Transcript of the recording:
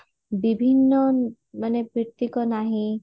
ବିଭିନ୍ନ ମାନେ ନାହିଁ